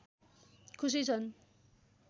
खुसी छन्